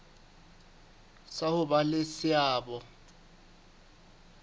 sa ho ba le seabo